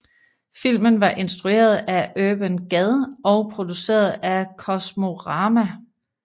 Filmen var instrueret af Urban Gad og produceret af Kosmorama